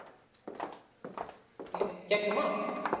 Andri: Smýgur í gegnum allt?